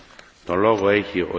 Monsieur le Président,